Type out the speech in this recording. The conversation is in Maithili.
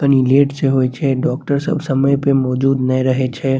तनी लेट छे होइ छे डॉक्टर सब समय पे मौजूद नई रहै छे।